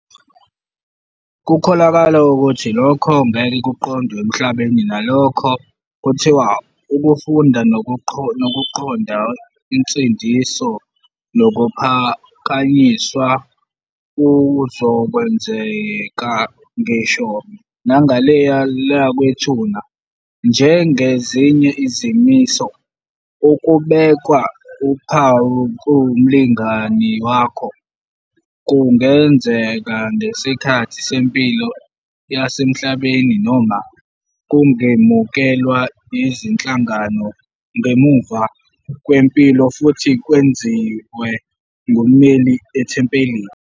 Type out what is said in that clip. Kukholakala ukuthi lokhu ngeke kuqondwe emhlabeni, kunalokho, kuthiwa ukufunda nokuqonda insindiso nokuphakanyiswa kuzokwenzeka ngisho nangale kwethuna. Njengezinye izimiso, ukubekwa uphawu kumlingani wakho kungenzeka ngesikhathi sempilo yasemhlabeni noma kungemukelwa yizinhlangano ngemuva kwempilo futhi kwenziwe ngummeli ethempelini.